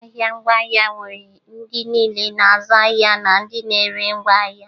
Ahịa ngwaahịa nwere ndị niile na-azụ ahịa na ndị na-ere ngwaahịa